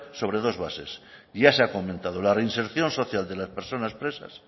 sobre dos bases y ya se ha comentado la reinserción social de las personas presas